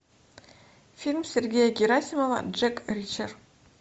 фильм сергея герасимова джек ричер